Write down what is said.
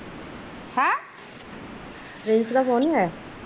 Prince ਦਾ phone ਨੀ ਆਇਆ?